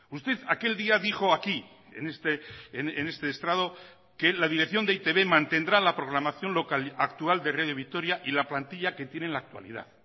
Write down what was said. usted aquel día dijo aquí en este estrado que la dirección de e i te be mantendrá la programación local actual de radio vitoria y la plantilla que tiene en la actualidad